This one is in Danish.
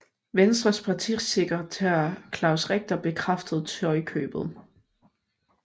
Venstres partisekretær Claus Richter bekræftede tøjkøbet